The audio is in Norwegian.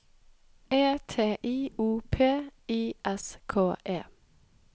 E T I O P I S K E